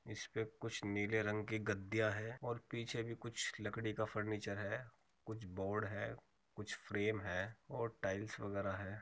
इसपे कुछ नीले रंग की गद्दिया है और पीछे भी कुछ लकड़ी का फर्नीचर है कुछ बोर्ड है कुछ फ्रेम है और टाइल्स वगैरा है।